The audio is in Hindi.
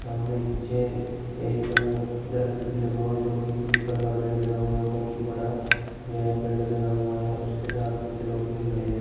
सामने पीछे एक दरख्त भी लगा हुआ जो कि एक पीपल का पेड़ लगा हुआ है बहोत ही बड़ा यह पेड़ लगा हुआ है। उसके साथ कुछ लोग भी खड़े हैं।